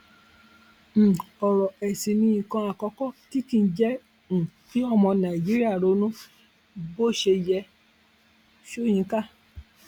um ọrọ ẹsìn ni nǹkan àkọkọ tí kì í jẹ um kí ọmọ nàìjíríà ronú bó ṣe yẹ sọyínká